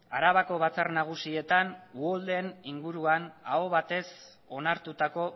arabako batzar nagusietan uholdeen inguruan aho batez onartutako